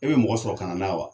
E be mɔgɔ sɔrɔ kana n'a ye wa